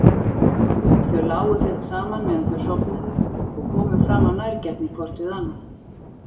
Þau lágu þétt saman meðan þau sofnuðu og komu fram af nærgætni hvort við annað.